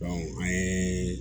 an ye